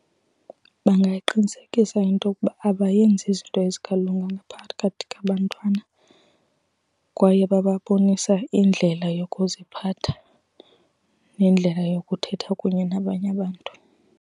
Bangayiqinisekisa intokuba abayenzi izinto ezingalunganga phakathi kwabantwana kwaye bababonisa indlela yokuziphatha nendlela yokuthetha kunye nabanye abantu.